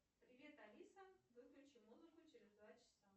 привет алиса выключи музыку через два часа